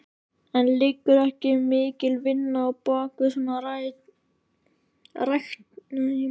En liggur ekki mikil vinna á bakvið svona ræktun?